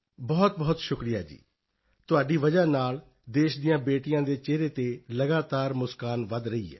ਬਹੁਤ ਸ਼ੁਕਰੀਆ ਜੀ ਤੁਹਾਡੀ ਵਜ੍ਹਾ ਨਾਲ ਦੇਸ਼ ਦੀਆਂ ਬੇਟੀਆਂ ਦੇ ਚਿਹਰੇ ਤੇ ਲਗਾਤਾਰ ਮੁਸਕਾਨ ਵਧ ਰਹੀ ਹੈ